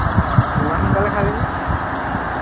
ইমান সোনকালে খালি নে?